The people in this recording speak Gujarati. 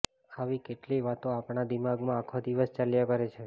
આવી કેટલીય વાતો આપણા દિમાગમાં આખો દિવસ ચાલ્યા કરે છે